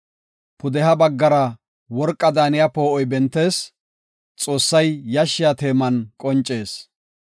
Pudeha baggara worqaa daaniya poo7oy bentees; Xoossay yashshiya teeman qoncees.